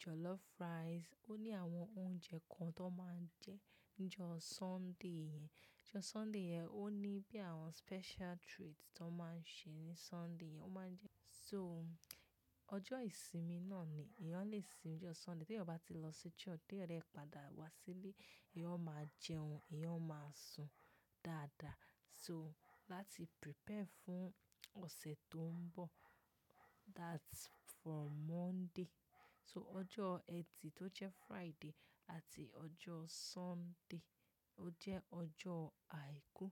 jollof rice, ó ní àwọn oúnjẹ kan tó máa ń jẹ ní ọjọ́ Sunday yẹn. Ọjọ́ Sunday yẹn ó ní bí àwọn special treat tó máa ń ṣe ní Sunday yẹn. Ó máa ń jẹ so-- ọjọ́ ìsinmi náà ni, èèyàn lè sinmi ní ọjọ́ Sunday. Tí èèyàn bá ti lọ sí church, tí èèyàn dẹ́ padà wá sílé, èèyàn ó máa jẹun, èèyàn ó máa sùn dáadáa. So, láti prepare fún ọ̀sẹ̀ tó ń bọ̀, that's for Monday. So, ọjọ́ ẹtì tó jẹ́ Friday àti ọjọ́ Sunday ó jẹ́ ọjọ́ àìkú.